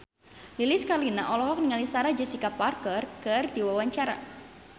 Lilis Karlina olohok ningali Sarah Jessica Parker keur diwawancara